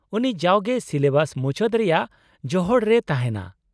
-ᱩᱱᱤ ᱡᱟᱣᱜᱮ ᱥᱤᱞᱮᱵᱟᱥ ᱢᱩᱪᱟᱹᱫ ᱨᱮᱭᱟᱜ ᱡᱚᱦᱚᱲ ᱨᱮᱭ ᱛᱟᱦᱮᱱᱟ ᱾